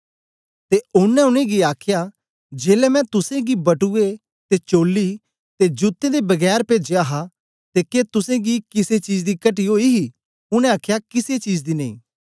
ते ओनें उनेंगी आखया जेलै मैं तुसेंगी बटुए ते चोल्ली ते जूतें दे बगैर पेजया हा ते के तुसेंगी किसे चीज दी कटी ओई ही उनै आखया किसे चीज दी नेई